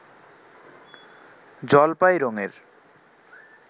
জলপাই রঙের